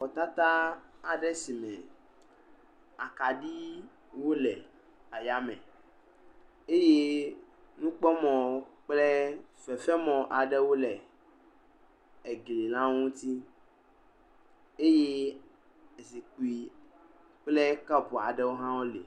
Xɔ tata aɖe si me akaɖi wole aya me eye nukpɔmɔ kple fefe mɔ aɖewo le egli la ŋuti eye zikpui kple kɔpu aewo hã wole.